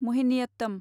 महिनियत्तम